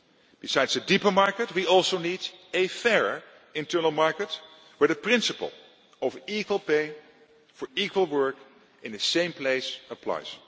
one. Besides a deeper market we also need a fairer internal market where the principle of equal pay for equal work in the same place applies.